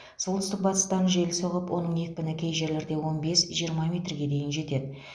солтүстік батыстан жел соғып оның екпіні кей жерлерде он бес жиырма метрге дейін жетеді